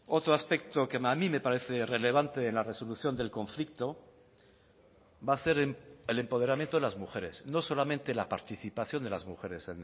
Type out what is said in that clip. otro aspecto que a mí me parece relevante en la resolución del conflicto va a ser el empoderamiento de las mujeres no solamente la participación de las mujeres